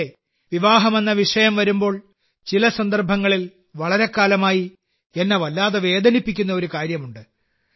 അതെ വിവാഹം എന്ന വിഷയം വരുമ്പോൾ ചില സന്ദർഭങ്ങളിൽ വളരെക്കാലമായി എന്നെ വല്ലാതെ വേദനിപ്പിക്കുന്ന ഒരു കാര്യമുണ്ട്